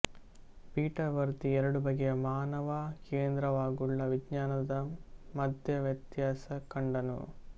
Peter ವರ್ದಿ ಎರಡು ಬಗೆಯ ಮಾನವ ಕೇಂದ್ರವಾಗುಳ್ಳ ವಿಜ್ಞಾನದ ಮಧ್ಯೆ ವ್ಯತ್ಯಾಸ ಕಂಡನು